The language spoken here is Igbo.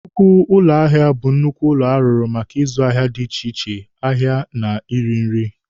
Nnukwu ụlọ ahịa bụ nnukwu ụlọ arụrụ maka ịzụ ahịa dị iche iche ahịa na ịrị nri.